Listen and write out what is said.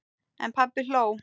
En pabbi hló.